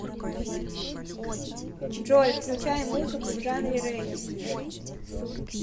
джой включай музыку в жанре регги